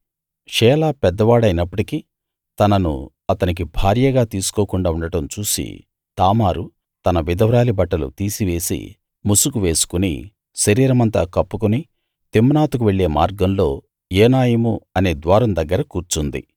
షేలా పెద్దవాడైనప్పటికీ తనను అతనికి భార్యగా తీసుకోకుండా ఉండడం చూసి తామారు తన విధవరాలి బట్టలు తీసివేసి ముసుగు వేసుకుని శరీరమంతా కప్పుకుని తిమ్నాతుకు వెళ్ళే మార్గంలో ఏనాయిము అనే ద్వారం దగ్గర కూర్చుంది